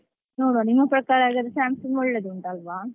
ನೋಡುವ ನಿಮ್ಮ ಪ್ರಕಾರ ಹಾಗಾದ್ರೆ Samsung ಒಳ್ಳೇದ್ ಉಂಟಲ್ವಾ.